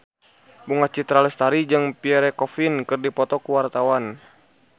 Bunga Citra Lestari jeung Pierre Coffin keur dipoto ku wartawan